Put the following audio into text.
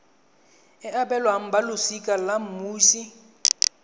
e abelwang balosika la moswi